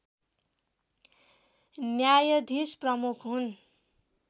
न्यायाधीश प्रमुख हुन्